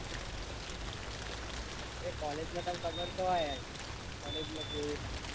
અરે college માં તન ખબર તો હોય college માં કેવું થાય.